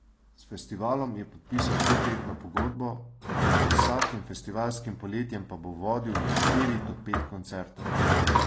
S festivalom je podpisal petletno pogodbo, med vsakim festivalskim poletjem pa bo vodil štiri do pet koncertov.